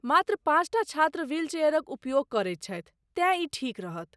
मात्र पाँचटा छात्र व्हील चेयरक उपयोग करैत छथि, तेँ ई ठीक रहत।